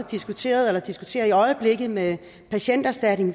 diskuteret eller diskuterer i øjeblikket med patienterstatning